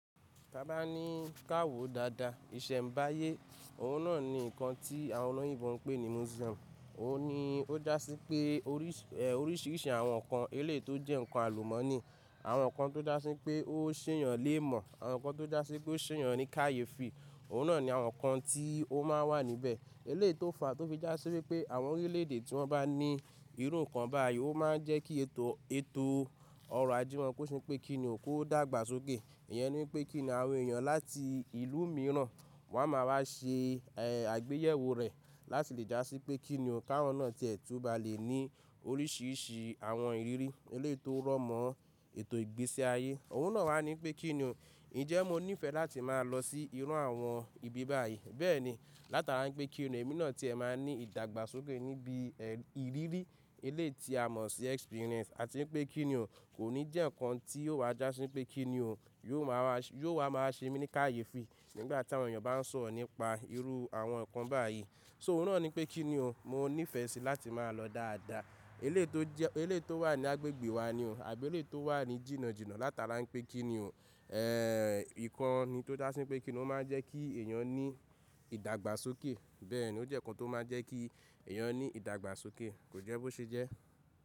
Ta bá ní ká wòó dáadáa, ìṣẹ̀ǹbáyé, òun náà ni nǹkan tí àwọn olóyìnbo ń pè ní Museum Òun ni ó dá sí pé oríṣìíríṣìí àwọn nǹkan, eléyìí tó jẹ́ nǹkan àlùmọ́ọ́nì, àwọn nǹkan tó dá sí pé ó ṣééyàn léèmọ̀, àwọn nǹkan tó dá sí pé ó ṣéèyàn ní kàyéfì Òun náà ni àwọn nǹkan tí ó máa ń wà níbẹ̀. Èléyìí tó fà á tó fi já sí wípé àwọn orílẹ̀-èdè tí wọ́n bá ní irú nǹkan báyìí, ó máa ń jẹ́ kí ètò ọrọ̀ ajé wọ́n kó ṣe pé kí ni o? Kó dàgbà sókè. Ìyẹn ni wípé kí ni àwọn èèyàn láti ìlú mìíràn wọ́n á máa wá ṣe àgbéyẹ̀wò rẹ̀ láti lè já sí pé kí ni o? Káwọn náà tí ẹ tún ba lè ní oríṣìíríṣìí àwọn ìrírí èléyìí tó rọ̀ mọ́ ètò ìgbésí ayé. Òun náà wá ní pé kí ni o, ǹjẹ́ mo níìfẹ̀ẹ́ láti máa lọ sí irú àwọn ibi báyìí. Bẹ́ẹ̀ni, látara wípé kí ni o èmi náà tí ẹ máa ní ìdàgbàsókè níbi ìrírí èléyìí tí a mọ̀ sí experience. Àti wípé kí ni o kò ní jẹ́ nǹkan tí yóò wa já sí ńpé kí ni o, yóò wa máa ṣe mí ní kàyéfi nígbà tí àwọn èèyàn bá ń sọ̀rọ̀ nípa irú àwọn nǹkan báyìí. So òun náà ni wípé kí ni o, mo níìfẹ̀ẹ́ síi láti máa lọ dáadáa. Èléyìí tó jẹ́ eléyìí tó wà ní agbègbè wa ni o àbí eléyìí tó wà ní jìnnà jìnnà látara wípé kí ni o, ẹ̀, nǹkan ni tó já sí wípé kí ni o máa ń jẹ́ kí èèyàn ní ìdàgbàsókè. Bẹ́ẹ̀ni, ó jẹ́ nǹkan tó máa ń jẹ́ kí èèyàn ní ìdàgbàsókè, kò jẹ́ bó ṣe jẹ́.